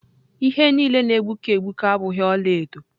Ihe niile na-egbuke egbuke abụghị ọla edo.